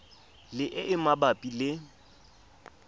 le e e mabapi le